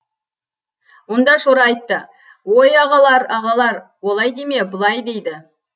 онда шора айтты ой ағалар ағалар олай деме бұлай дейді